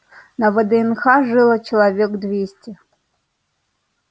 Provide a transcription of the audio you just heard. на вднх жило человек двести